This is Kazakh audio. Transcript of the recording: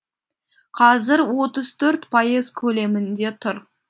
қазір отыз төрт пайыз көлемінде тұр